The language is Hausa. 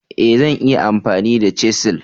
E! Zan iya amfani da chisel.